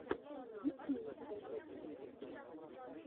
есть ли у тебя топовые подборки